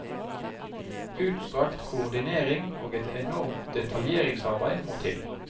Utstrakt koordinering og et enormt detaljeringsarbeid må til.